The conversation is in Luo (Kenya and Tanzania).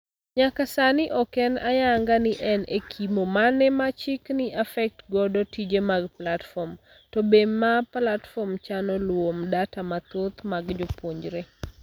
Nyaka saani ok en ayanga ni en ekimo mane ma chik ni affect godo tije mag platform ,to be ma platform chano luwo mdata mathoth mag jopuonjre.